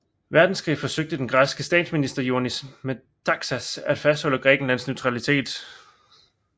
Verdenskrig forsøgte den græske statsminister Ioannis Metaxas at fastholde Grækenlands neutralitet